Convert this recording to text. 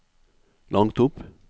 langt opp